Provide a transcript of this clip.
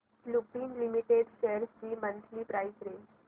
Lupin limited shares ची monthly price range